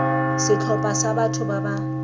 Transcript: setlhopha sa batho ba ba